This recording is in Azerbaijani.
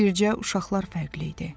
Bircə uşaqlar fərqli idi.